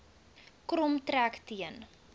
krom trek teen